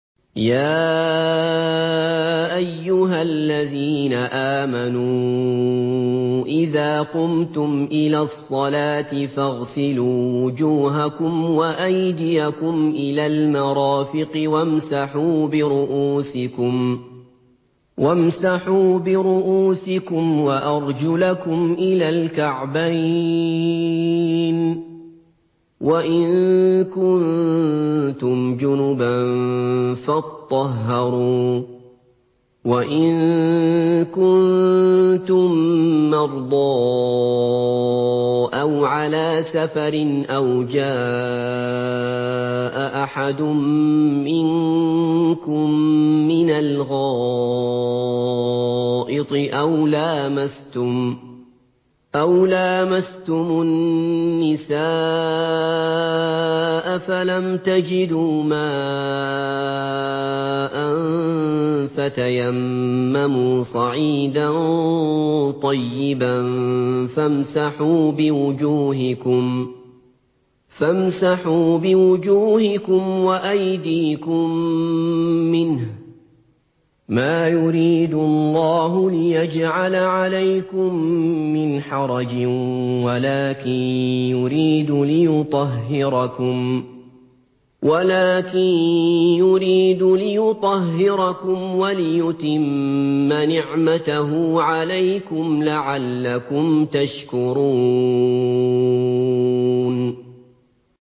يَا أَيُّهَا الَّذِينَ آمَنُوا إِذَا قُمْتُمْ إِلَى الصَّلَاةِ فَاغْسِلُوا وُجُوهَكُمْ وَأَيْدِيَكُمْ إِلَى الْمَرَافِقِ وَامْسَحُوا بِرُءُوسِكُمْ وَأَرْجُلَكُمْ إِلَى الْكَعْبَيْنِ ۚ وَإِن كُنتُمْ جُنُبًا فَاطَّهَّرُوا ۚ وَإِن كُنتُم مَّرْضَىٰ أَوْ عَلَىٰ سَفَرٍ أَوْ جَاءَ أَحَدٌ مِّنكُم مِّنَ الْغَائِطِ أَوْ لَامَسْتُمُ النِّسَاءَ فَلَمْ تَجِدُوا مَاءً فَتَيَمَّمُوا صَعِيدًا طَيِّبًا فَامْسَحُوا بِوُجُوهِكُمْ وَأَيْدِيكُم مِّنْهُ ۚ مَا يُرِيدُ اللَّهُ لِيَجْعَلَ عَلَيْكُم مِّنْ حَرَجٍ وَلَٰكِن يُرِيدُ لِيُطَهِّرَكُمْ وَلِيُتِمَّ نِعْمَتَهُ عَلَيْكُمْ لَعَلَّكُمْ تَشْكُرُونَ